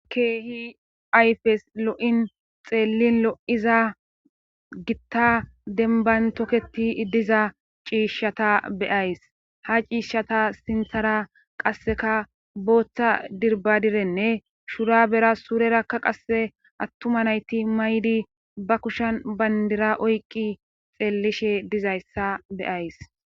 Keehi ayfes lo7in xeellin lo7iza gitta denban tokketi diza ciishshata beyays ha ciishshata sinthara qasseka booththa dirbadirenne shura bera suurerakka qasse attuma nayti maydi ba kushan bandira oyqqi xeellishe dizayssa beyays.